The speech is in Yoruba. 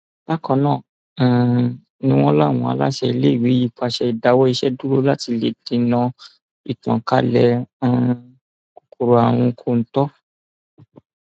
bákan náà um ni wọn láwọn aláṣẹ iléèwé yìí pàṣẹ ìdáwọ iṣẹ dúró láti lè dènà ìtànkalẹ um kòkòrò àrùn kọńtò